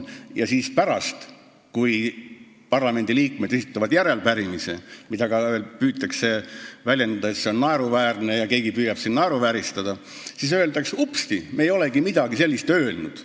Ja pärast seda, kui parlamendiliikmed on esitanud järelepärimise, mida püütakse siin ka naeruvääristada, öeldakse, et upsti, me ei olegi midagi sellist öelnud.